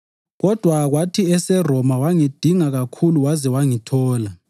Kodwa kwathi eseRoma wangidinga kakhulu waze wangithola.